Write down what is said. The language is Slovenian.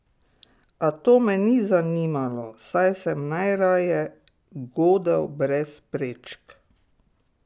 A to me ni zanimalo, saj sem najraje godel brez prečk.